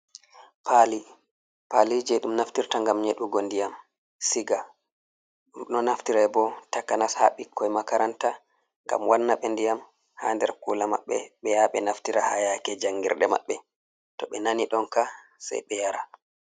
Pali je ɗum naftirta ngam nyeɗugo ndiyam siga ɗo naftira bo takanas ha ɓikkoi makaranta ngam wanna ɓe ndiyam ha nder kula maɓɓe ɓe yaha ɓe naftira ha yake jangirde maɓɓe to ɓe nani ɗonka sai ɓe yara.